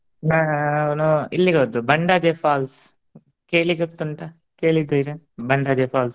ನಾ~ ನೋ~ ಇಲ್ಲಿಗೆ ಹೊದ್ದು Bandaje falls ಕೇಳಿ ಗೊತ್ತುಂಟ? ಕೇಳಿದ್ದೀರಾ Bandaje falls ?